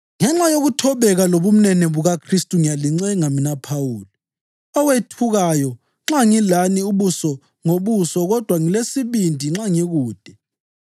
Ngenxa yokuthobeka lobumnene bukaKhristu ngiyalincenga, mina Phawuli “owethukayo” nxa ngilani ubuso ngobuso kodwa ngilesibindi nxa ngikude!